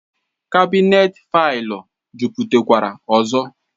Kabinet faịlụ ejuputakwara ọzọ